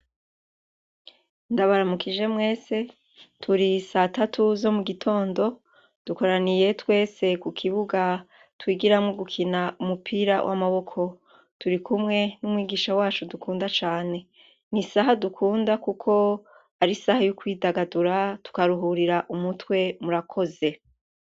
Ndabaramukije mwese, turi satatu zo mugitondo, dukoraniye twese kukibuga twigiramwo gukina umupira w’amaboko. Turikumwe n’umwigisha wacu dukunda cane. N’isaha dukunda kuko ar’isaha yo kwidagadura , tukaruhurira umutwe . Murakoze